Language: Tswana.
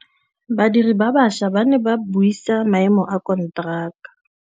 Badiri ba baša ba ne ba buisa maêmô a konteraka.